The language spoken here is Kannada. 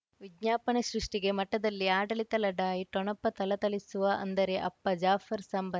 ವಿಜ್ಞಾಪನೆ ಸೃಷ್ಟಿಗೆ ಮಠದಲ್ಲಿ ಆಡಳಿತ ಲಢಾಯಿ ಠೊಣಪ ಥಳಥಳಿಸುವ ಅಂದರೆ ಅಪ್ಪ ಜಾಫರ್ ಸಂಬಂ